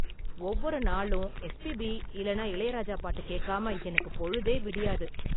ஒவ்வொரு நாளும் எஸ்பிபி இல்லனா இளையராஜா பாட்டு கேக்காம எனக்கு பொழுதே விடியாது.